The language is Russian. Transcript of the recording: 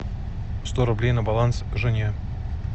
сто рублей на баланс жене